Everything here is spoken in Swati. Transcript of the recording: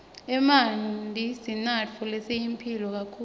emanti sinatfo lesiyimphilo kakhulu